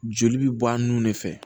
Joli bɛ bɔ a nun de fɛ